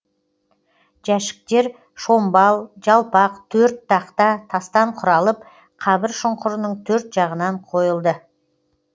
жәшіктер шомбал жалпақ төрт тақта тастан құралып қабір шұңқырының төрт жағынан қойылды